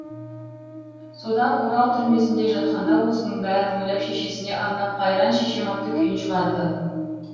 содан орал түрмесінде жатқанда осының бәрін ойлап шешесіне арнап қайран шешем атты күйін шығарды